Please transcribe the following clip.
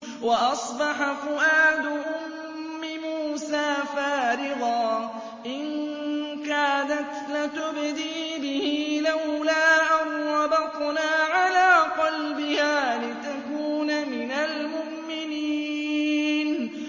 وَأَصْبَحَ فُؤَادُ أُمِّ مُوسَىٰ فَارِغًا ۖ إِن كَادَتْ لَتُبْدِي بِهِ لَوْلَا أَن رَّبَطْنَا عَلَىٰ قَلْبِهَا لِتَكُونَ مِنَ الْمُؤْمِنِينَ